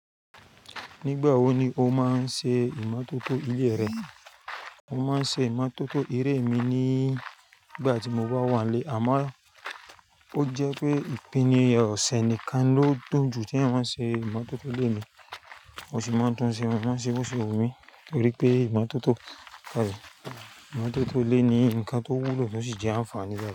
Nígbà wo ni o máa ń ṣe ìmọtótó ilé rẹ? Mo máa ń ṣe ìmọtótó ilé mi nígbà tí mo bá wà nílé àmọ́ ó jẹ́ pé ìpìní ọ̀sẹ̀ nìkan ló dùn jù tí ń máa ń ṣe ìmọtótó ilé mi. Mo sì máa ń tún ṣe, mo máa ń ṣe bóṣe wumi torí pé ìmọtótó, ìmọtótó ilé ni nǹkan tó wúlò, ó sì jẹ́ àǹfààní rẹ̀